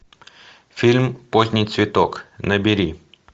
фильм поздний цветок набери